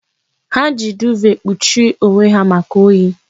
Ha ji duuve kpuchie onwe ha maka oyi.